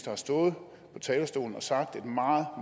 har stået på talerstolen og sagt at et meget